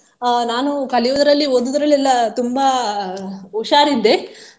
ಅಹ್ ನಾನು ಕಲಿಯುವುದರಲ್ಲಿ ಓದುವುದರಲ್ಲಿ ಎಲ್ಲ ತುಂಬಾ ಹುಷಾರಿದ್ದೆ.